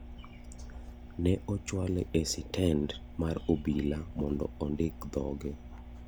Ne ochuale e sitend mar obila mondo ondik thoge.